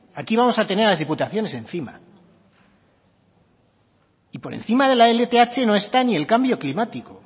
aquí vamos a tener a las diputaciones encima y por encima de la lth no está ni el cambio climático